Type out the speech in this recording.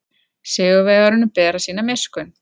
Sigurvegaranum ber að sýna miskunn.